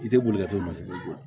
I tɛ boli ka to masiri